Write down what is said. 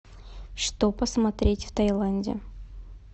что посмотреть в тайланде